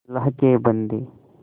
अल्लाह के बन्दे